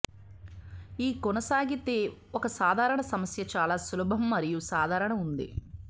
ఈ కొనసాగితే ఒక సాధారణ సమస్య చాలా సులభం మరియు సాధారణ ఉంది